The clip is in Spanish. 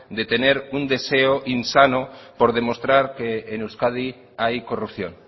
de tener un deseo insano por demostrar que en euskadi hay corrupción